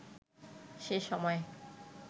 সে সময়